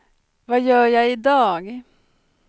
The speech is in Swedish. vad gör jag idag